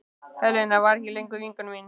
Helena var ekki lengur vinkona mín.